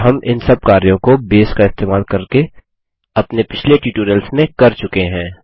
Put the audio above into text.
और हम इन सब कार्यों को बेस का इस्तेमाल करके अपने पिछले ट्यूटोरियल्स में कर चुके हैं